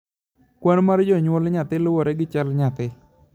kwan mar jonyuol nyathi loure gi chal nyathi